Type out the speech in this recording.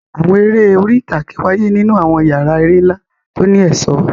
Àwọn eré orí ìtàgé wáyé nínú àwọn yàrá eré ńlá tó ní ẹ̀ṣọ́.